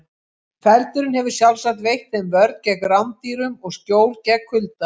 Feldurinn hefur sjálfsagt veitt þeim vörn gegn rándýrum og skjól gegn kulda.